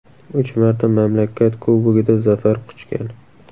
Uch marta mamlakat Kubogida zafar quchgan.